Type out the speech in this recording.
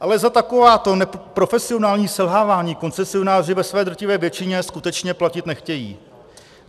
Ale za takováto profesionální selhávání koncesionáři ve své drtivé většině skutečně platit nechtějí.